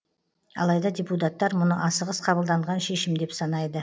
алайда депутаттар мұны асығыс қабылданған шешім деп санайды